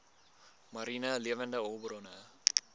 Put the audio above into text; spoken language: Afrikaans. mariene lewende hulpbronne